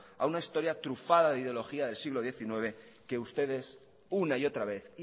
a una historia trufada de ideología del siglo diecinueve que ustedes una y otra vez